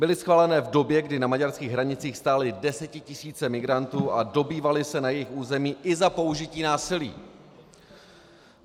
Byly schváleny v době, kdy na maďarských hranicích stály desetitisíce migrantů a dobývaly se na jejich území i za použití násilí.